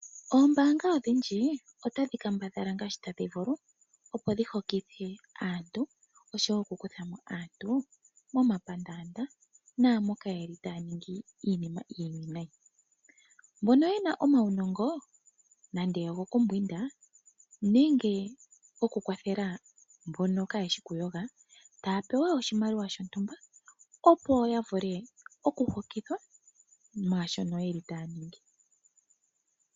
Oombanga odhindji otadhi kambadhala ngaashi tadhi vulu opo dhi hokithe aantu, osho wo okukutha mo aantu momapandaanda naamboka yeli taya ningi iinima iiwinayi. Mbono ye na omaunongo nande ogokumbwinda nenge okukwathela mbono kayeshi okuyoga, ohaya pewa oshimaliwa shontumba opo yavule okuhokithwa mwashono yeli taya ningi.